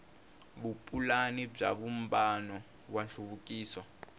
vupulani bya vumbano wa nhluvukiso